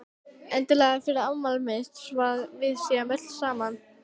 Endilega fyrir afmælið mitt svo að við séum öll saman.